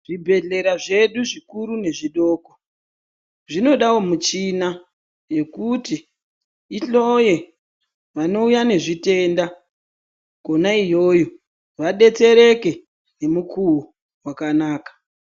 Zvibhedhlera zvedu zvikuru nezvidoko, zvinodawo michina yekuti ihloye vanouya nezvitenda, kona iyoyo, vadetsereke ngemukuwo wakanaka.